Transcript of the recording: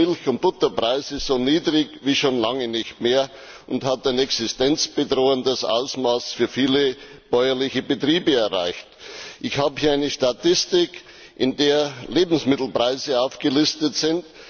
die Milch und Butterpreise so niedrig wie schon lange nicht mehr und haben ein existenzbedrohendes Niveau für viele bäuerliche Betriebe erreicht. Ich habe hier eine Statistik, in der Lebensmittelpreise aufgelistet sind.